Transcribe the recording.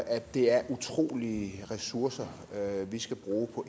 at det er utrolige ressourcer vi skal bruge på